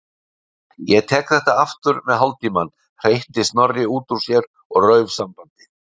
Ég tek þetta aftur með hálftímann- hreytti Snorri út úr sér og rauf sambandið.